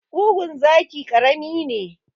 Ƙugun zaki karami ne.